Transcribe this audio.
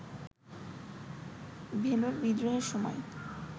ভেলোর বিদ্রোহের সময়